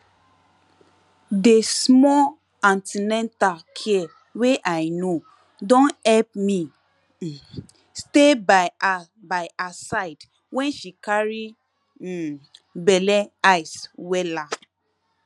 dey small an ten atal care wey i know don help me um stay by her by her side when she carry um belle eyes wella